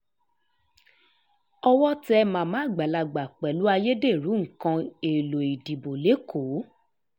owó tẹ màmá àgbàlagbà pẹ̀lú ayédèrú nǹkan èèlò ìdìbò lẹ́kọ̀ọ́